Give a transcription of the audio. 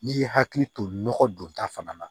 N'i ye hakili to nɔgɔ don ta fana na